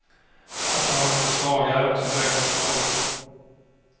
Att ta hand om de svaga är också högerns mål.